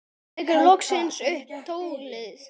Tekur loksins upp tólið.